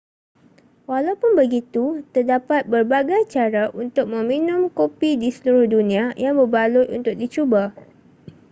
walaupun begitu terdapat berbagai cara untuk meminum kopi di seluruh dunia yang berbaloi untuk dicuba